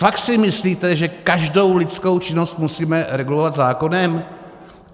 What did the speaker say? Fakt si myslíte, že každou lidskou činnost musíme regulovat zákonem?